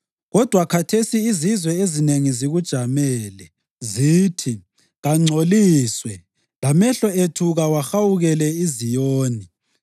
Kodwa khathesi izizwe ezinengi zikujamele. Zithi, “Kangcoliswe, lamehlo ethu kawahawukele iZiyoni!”